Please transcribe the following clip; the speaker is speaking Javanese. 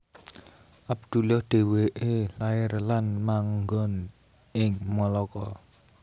Abdullah dhéwé lair lan mangon ing Malaka